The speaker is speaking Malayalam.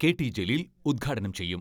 കെ.ടി ജലീൽ ഉദ്ഘാടനം ചെയ്യും.